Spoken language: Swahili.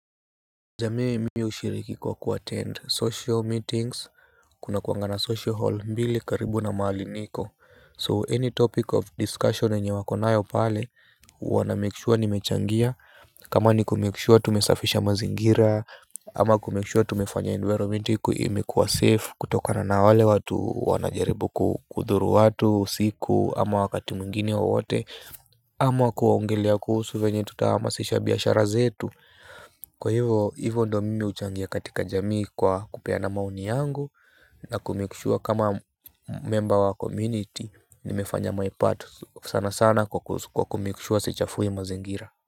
Jamii mimi hushiriki kwa kuattend social meetings. Kuna kuanga na social hall mbili karibu na mahali niko So any topic of discussion yenye wako nayo pale huwa namake sure nimechangia. Kama ni kumake sure tumesafisha mazingira ama kumake sure tumefanya environment imekuwa safe. Kutoka na na wale watu wanajaribu kudhuru watu usiku ama wakati mwingine wowote ama kuongelea kuhusu venye tutahamasisha biashara zetu. Kwa hivo ndo mimi huchangia katika jamii kwa kupeana maoni yangu. Na kumake sure kama memba wa community nimefanya my part sana sana kwa kumake sure sichafui mazingira.